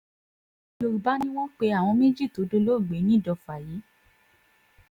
yorùbá ni wọ́n pe àwọn méjì tó dolóògbé nìdọ̀fà yìí